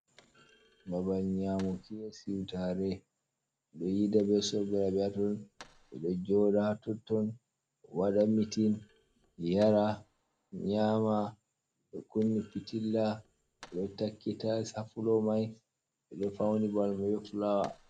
Babal nyaamuki be siwtaare ,ɗo yiida be sobiraɓe haa ton. Ɓe ɗo jooɗa a totton ,waɗa mitin, yara ,nyama ɓe kunni pitilla, bo takki tayis a fulo may. Ɓe ɗo fawni babal may be fulaawa.